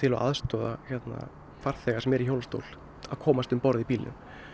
og aðstoða farþega sem eru í hjólastól að komast um borð í bílinn